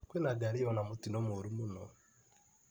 Kwĩna ngari yona mũtino mũru mũno.